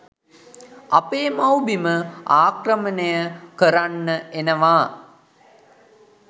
අපේ මව්බිම ආක්‍රමණය කරන්න එනවා